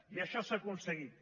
i això s’ha aconseguit